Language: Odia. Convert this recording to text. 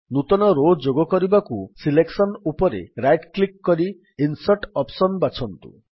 ନୂତନ ରୋ ଯୋଗ କରିବାକୁ ସିଲେକ୍ସନ୍ ଉପରେ ରାଇଟ୍ କ୍ଲିକ୍ କରି ଇନ୍ସର୍ଟ୍ ଅପ୍ସନ୍ ବାଛନ୍ତୁ